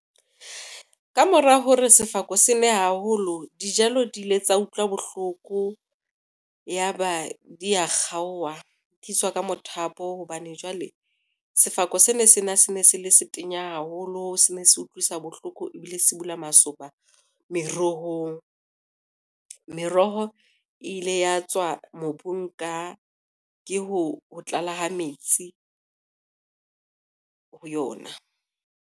Ka mora hore sefako sene haholo dijalo di ile tsa utlwa bohloko, ya ba dia kgaowa di ka mothapo hobane jwale, sefako se ne sena se ne se le se tenya haholo se ne se utlwisa bohloko ebile se bula masoba merohong. Meroho e ile ya tswa mobung ke ho tlala ha metsi ho yona.